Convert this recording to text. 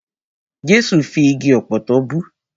Jẹ́sù fi igi ọ̀pọ̀tọ́ bú.